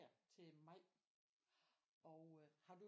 Til maj og øh har du